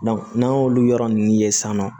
n'an y'olu yɔrɔ ninnu ye san nɔ